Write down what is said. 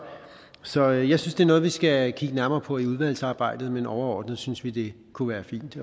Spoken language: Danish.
så jeg synes det er noget vi skal kigge nærmere på i udvalgsarbejdet men overordnet synes vi det kunne være fint